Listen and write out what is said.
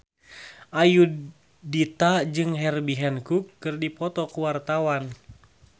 Ayudhita jeung Herbie Hancock keur dipoto ku wartawan